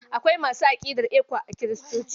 Akwai masu aƙidar ECWA a Kiristoci.